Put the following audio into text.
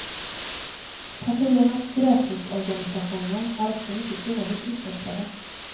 Partiernas gräsrotsorganisationer är också mycket dåligt utvecklade.